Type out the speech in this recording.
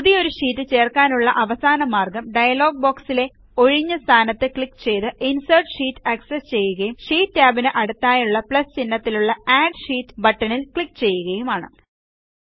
പുതിയൊരു ഷീറ്റ് ചേർക്കാനുള്ള അവസാന മാർഗ്ഗം ഡയലോഗ് ബോക്സിലെ ഒഴിഞ്ഞ സ്ഥാനത്ത് ക്ലിക്ക് ചെയ്ത് ഇൻസെർട്ട് ഷീറ്റ് ആക്സസ്സ് ചെയ്യുകയും ഷീറ്റ് ടാബിന് അടുത്തായുള്ള പ്ലസ് ചിഹ്നത്തിലുള്ള അഡ് ഷീറ്റ് ബട്ടണിൽ ക്ലിക്ക് ചെയ്യുകയുമാണ്